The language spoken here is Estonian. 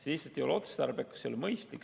See lihtsalt ei ole otstarbekas ja mõistlik.